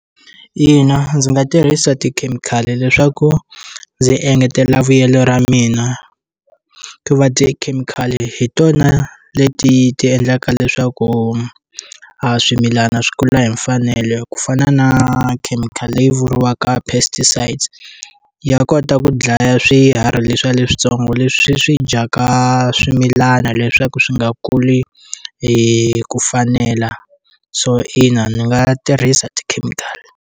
Ina ndzi nga tirhisa tikhemikhali leswaku ndzi engetela vuyelo ra mina ku va tikhemikhali hi tona leti ti endlaka leswaku a swimilana swi kula hi mfanelo ku fana na khemikhali leyi vuriwaka pesticides ya kota ku dlaya swiharhi leswiya leswitsongo leswi swi dyaka swimilana leswaku swi nga kuli hi ku fanela so ina ni nga tirhisa tikhemikhali.